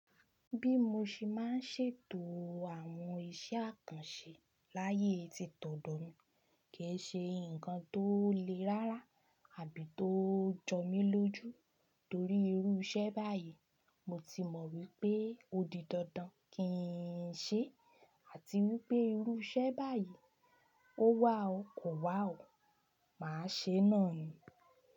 Bí mo ṣe máa ń ṣètò àwọn iṣẹ́ àkànṣe láyé ti tọ̀dọ̀ mi kí ẹ ṣe nǹkan tó le rárá àbí tó jọ mí lójú torí irú iṣẹ́ báyìí mo ti mọ̀ wípé ó di dandan kí n ṣe àti wípé irú iṣẹ́ báyìí ó wà ọ kò wá o, màá ṣe náà ni.